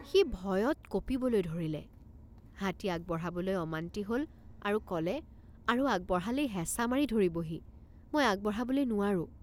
সি ভয়ত কঁপিবলৈ ধৰিলে। সি ভয়ত কঁপিবলৈ ধৰিলে। হাতী আগবঢ়াবলৈ অমান্তি হল আৰু কলে আৰু আগবঢ়ালেই হেঁচা মাৰি ধৰিবহিমই আগবঢ়াবলৈ নোৱাৰোঁ।